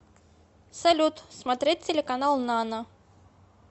салют смотреть телеканал нано